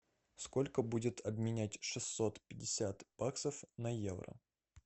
сколько будет обменять шестьсот пятьдесят баксов на евро